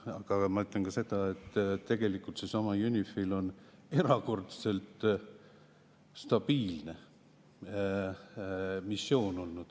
Aga ma ütlen ka seda, et tegelikult UNIFIL on olnud erakordselt stabiilne missioon.